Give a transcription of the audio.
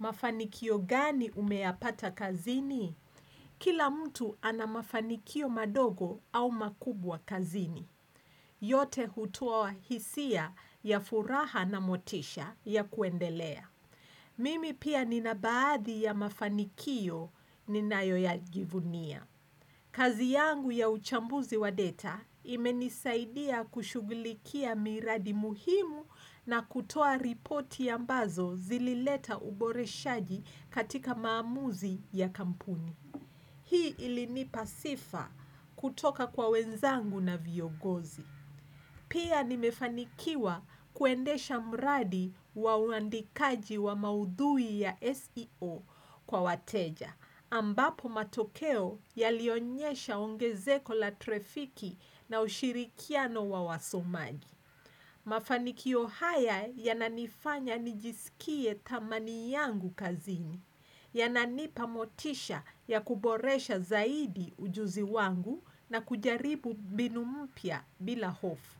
Mafanikio gani umeyapata kazini? Kila mtu ana mafanikio madogo au makubwa kazini. Yote hutuo hisia ya furaha na motisha ya kuendelea. Mimi pia nina baadhi ya mafanikio ninayo ya jivunia. Kazi yangu ya uchambuzi wa data imenisaidia kushugulikia miradi muhimu na kutoa ripoti ambazo zilileta uboreshaji katika maamuzi ya kampuni. Hii ilinipa sifa kutoka kwa wenzangu na viongozi. Pia nimefanikiwa kuendesha mradi wa uandikaji wa maudhui ya SEO kwa wateja, ambapo matokeo yalionyesha ongezeko la trafiki na ushirikiano wa wasomaji. Mafanikio haya yananifanya nijisikie thamani yangu kazini, yananipamotisha ya kuboresha zaidi ujuzi wangu na kujaribu mbinu mpya bila hofu.